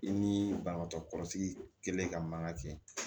I ni banabagatɔ kɔrɔsigilen ka mankan kɛ